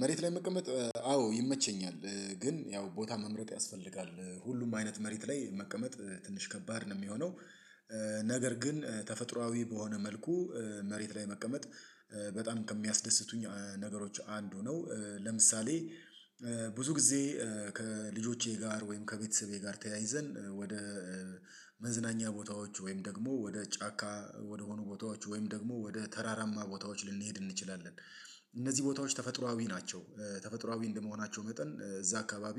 መሬት ላይ መቀመጥ አዎ ይመቸኛል ግን ያው ቦታ መምረጥ ያስፈልጋል ሁሉም አይነት መሬት ላይ መቀመጥ ትንሽ ከባድ ነው የሚሆነው። ነገር ግን ተፈጥሮአዊ በሆነ መልኩ መሬት ላይ መቀመጥ በጣም ከሚያስደስቱኝ ነገሮች አንዱ ነው። ለምሳሌ ብዙ ጊዜ ከልጆቼ ጋር ወይም ከቤተሰቤ ጋር ተያይዘን ወደ መዝናኛ ቦታዎች ወይም ደግሞ ወደ ጫካ ወደሆኑ ቦታዎች ወይም ደግሞ ወደ ተራራማ ቦታዎች ልንሄድ እንችላለን። እነዚህ ቦታዎች ተፈጥሮአዊ ናቸው። ተፈጥሮአዊ እንደመሆናቸው መጠን እዛ አካባቢ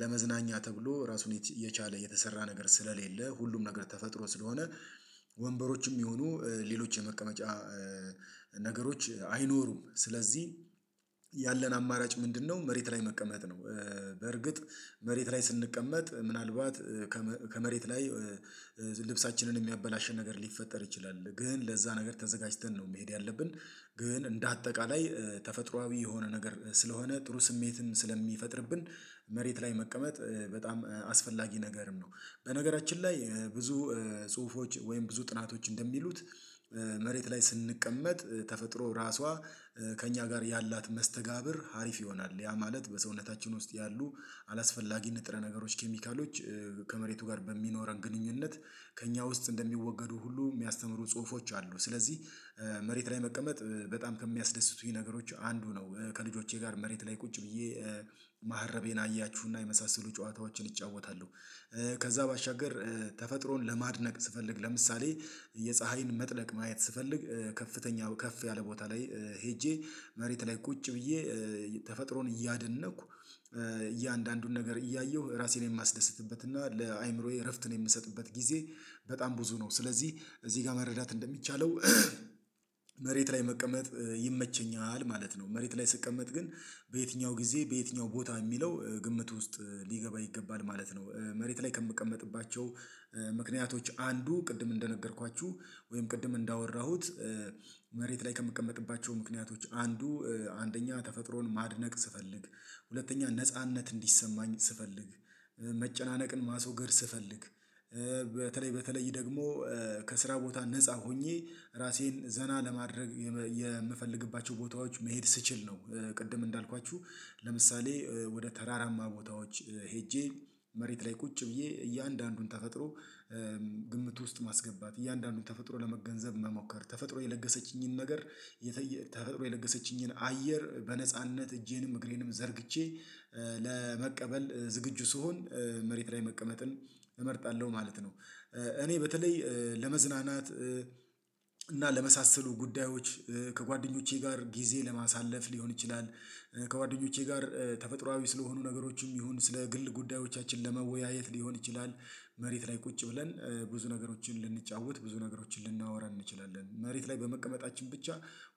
ለመዝናኛ ተብሎ ራሱን የቻለ የተሰራ ነገር ስለሌለ ሁሉም ነገር ተፈጥሮ ስለሆነ ወንበሮችም ይሁኑ ሌሎች የመቀመጫ ነገሮች አይኖሩም ስለዚህ ያለን አማራጭ ምንድነው መሬት ላይ መቀመጥ ነው? በርግጥ መሬት ላይ ስንቀመጥ ምናልባት ከመሬት ላይ ልብሳችንን የሚያበላሽን ነገር ሊፈጠር ይችላል ግን ለዛ ነገር ተዘጋጅተን ነው መሄድ ያለብን። ግን እንደ አጠቃላይ ተፈጥሮአዊ የሆነ ነገር ስለሆነ ጥሩ ስሜትን ስለሚፈጥርብን መሬት ላይ መቀመጥ በጣም አስፈላጊ ነገርም ነው። በነገራችን ላይ ብዙ ጽሁፎች ወይም ብዙ ጥናቶች እንደሚሉት መሬት ላይ ስንቀመጥ ተፈጥሮ ራሷ ከእኛ ጋር ያላት መስተጋብር ሀሪፍ ይሆናል ያ ማለት በሰውነታችን ውስጥ ያሉ አላስፈላጊ ንጥረ ነገሮች ኬሚካሎች ከመሬቱ ጋር በሚኖረን ግንኙነት ከእኛ ውስጥ እንደሚወገዱ ሁሉ የሚያስተምሩ ጽሁፎች አሉ። ስለዚህ መሬት ላይ መቀመጥ በጣም ከሚያስደስቱኝ ነገሮች አንዱ ነው ከልጆቼ ጋር መሬት ላይ ቁጭ ብዬ ማህረቤን አያችሁና የመሳሰሉ ጨዋታዎችን እጫወታለሁ። ከዛ ባሻገር ተፈጥሮን ለማድነቅ ስፈልግ ለምሳሌ የፀሀይን መጥለቅ ማየት ስፈልግ ከፍተኛው ከፍ ያለ ቦታ ላይ ሄጄ መሬት ላይ ቁጭ ብዬ ተፈጥሮን እያደነቅሁ እያንዳንዱን ነገር እያየሁ ራሴን የማስደስትበት እና ለአእምሮዬ እረፍት የምሰጥበት ጊዜ በጣም ብዙ ነው። ስለዚህ እዚህ ጋር መረዳት እንደሚቻለው መሬት ላይ መቀመጥ ይመቸኛል ማለት ነው። መሬት ላይ ስቀመጥ ግን በየትኛው ጊዜ በየትኛው ቦታ የሚለው ግምት ውስጥ ሊገባ ይገባል ማለት ነው። መሬት ላይ ከምቀመጥባቸው ምክንያቶች አንዱ ቅድም እንደነገርኳችሁ ወይም ቅድም እንዳወራሁት መሬት ላይ ከምቀመጥባቸው ምክንያቶች አንዱ አንደኛ ተፈጥሮን ማድነቅ ስፈልግ ሁለተኛ ነጻነት እንዲሰማኝ ስፈልግ መጨናነቅን ማስወገድ ስፈልግ በተለይ በተለይ ደግሞ ከስራ ቦታ ነፃ ሆኜ ራሴን ዘና ለማድረግ የምፈልግባቸው ቦታዎች መሄድ ስችል ነው። ቅድም እንዳልኳችሁ ለምሳሌ ወደ ተራራማ ቦታዎች ሄጄ መሬት ላይ ቁጭ ብዬ እያንዳንዱን ተፈጥሮ ግምት ውስጥ ማስገባት እያንዳንዱን ተፈጥሮ ለመገንዘብ መሞከር ተፈጥሮ የለገሰችኝን ነገር ተፈጥሮ የነገሰችኝን አየር በነጻነት እጄንም እግሬንም ዘርግቼ ለመቀበል ዝግጁ ስሆን መሬት ላይ መቀመጥን እመርጣለሁ ማለት ነው። እኔ በተለይ ለመዝናናት እና ለመሳሰሉ ጉዳዮች ከጓደኞቼ ጋር ጊዜ ለማሳለፍ ሊሆን ይችላል ከጓደኞቼ ጋር ተፈጥሮአዊ ስለሆኑ ነገሮችም ይሁን ስለ ግል ጉዳዮቻችን ለመወያየት ሊሆን ይችላል። መሬት ላይ ቁጭ ብለን ብዙ ነገሮችን ልንጫወት ብዙ ነገሮችን ልናወራ እንችላለን መሬት ላይ በመቀመጣችን ብቻ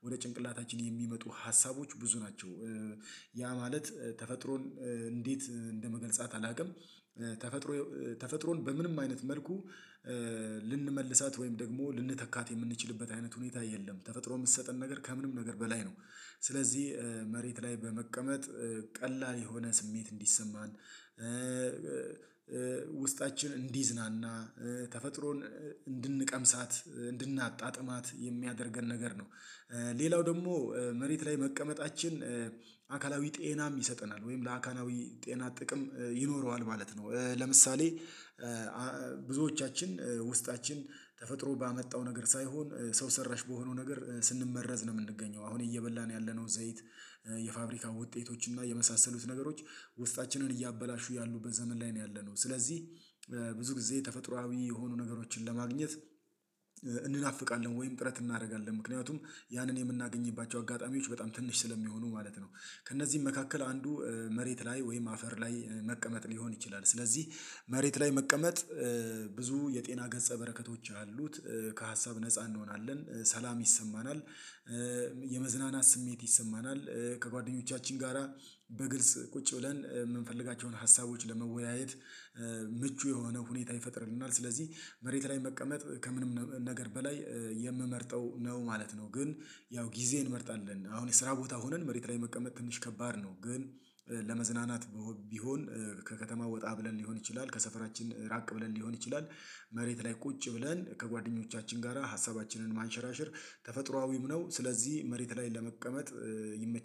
ወደ ጭንቅላታችን የሚመጡ ሀሳቦች ብዙ ናቸው። ያ ማለት ተፈጥሮን እንዴት እንደመገልጻት አላውቅም። ተፈጥሮ ተፈጥሮን በምንም አይነት መልኩ ልንመልሳት ወይም ደግሞ ልንተካት የምንችልበት አይነት ሁኔታ የለም። ተፈጥሮ የምትሰጠን ነገር ከምንም ነገር በላይ ነው። ስለዚህ መሬት ላይ በመቀመጥ ቀላል የሆነ ስሜት እንዲሰማን ውስጣችን እንዲዝናና ተፈጥሮን እንድንቀምሳት እንድናጣጥማት የሚያደርገን ነገር ነው። ሌላው ደግሞ መሬት ላይ መቀመጣችን አካላዊ ጤናም ይሰጠናል ወይም ለአካላዊ ጤና ጥቅም ይኖረዋል ማለት ነው። ለምሳሌ ብዙዎቻችን ውስጣችን ተፈጥሮ ባመጣው ነገር ሳይሆን ሰው ሰራሽ በሆነው ነገር ስንመረዝ ነው የምንገኘው አሁን እየበላን ያለነው ዘይት የፋብሪካ ውጤቶች እና የመሳሰሉት ነገሮች ውስጣችንን እያበላሹ ያሉበት ዘመን ላይ ነው ያለነው። ስለዚህ ብዙ ጊዜ ተፈጥሮአዊ የሆኑ ነገሮችን ለማግኘት እንናፍቃለን ወይም ጥረት እናደርጋለን ምክንያቱም ያንን የምናገኝባቸው አጋጣሚዎች በጣም ትንሽ ስለሚሆኑ ማለት ነው ከእነዚህ መካከል አንዱ መሬት ላይ ወይም አፈር ላይ መቀመጥ ሊሆን ይችላል። ስለዚህ መሬት ላይ መቀመጥ ብዙ የጤና ገጸ በረከቶች አሉት። ከሀሳብ ነፃ እንሆናለን ሰላም ይሰማናል። የመዝናናት ስሜት ይሰማናል ከጓደኞቻችን ጋራ በግልጽ ቁጭ ብለን የምንፈልጋቸውን ሀሳቦች ለመወያየት ምቹ የሆነ ሁኔታ ይፈጥርልናል። ስለዚህ መሬት ላይ መቀመጥ ከምንም ነገር በላይ የምመርጠው ነው ማለት ነው። ግን ያው ጊዜ እንመርጣለን አሁን የስራ ቦታ ሆነን መሬት ላይ መቀመጥ ትንሽ ከባድ ነው ግን። ለመዝናናት ቢሆን ከከተማ ወጣ ብለን ሊሆን ይችላል ከሰፈራችን ራቅ ብለን ሊሆን ይችላል። መሬት ላይ ቁጭ ብለን ከጓደኞቻችን ጋራ ሀሳባችንን ማንሸራሸር ተፈጥሮአዊም ነው ስለዚህ መሬት ላይ ለመቀመጥ ይመቸኛል